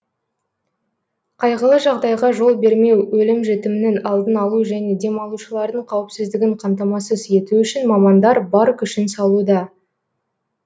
қайғылы жағдайға жол бермеу өлім жітімнің алдын алу және демалушылардың қауіпсіздігін қамтамасыз ету үшін мамандар бар күшін салуда